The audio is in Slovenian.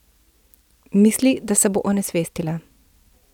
Misli, da se bo onesvestila.